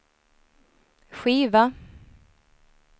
skiva